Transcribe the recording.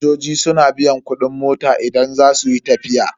Fasinjoji suna biyan kudin mota idan za su yi tafiya.